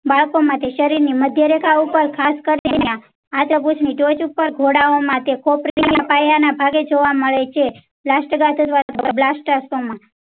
બાળકો માં તે શરીર ની મધ્ય રેખા ઉપર ખાસ કરી. ઉપર ઘોડાઓ માટે ખોપરી ના પાયા ના ભાગે જોવા મળે છે. બ્લાસ્ટિક